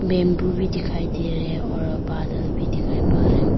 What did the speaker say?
bamboo भी दिखाई दे रहे और बादल भी दिखाई पा रहे --